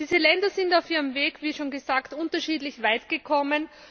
Diese Länder sind auf ihrem Weg, wie schon gesagt, unterschiedlich weit gekommen.